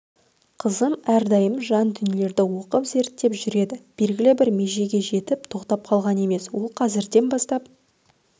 қызым әрдайым жаңа дүниелерді оқып-зерттеп жүреді белгілі бір межеге жетіп тоқтап қалған емес ол қазірден бастап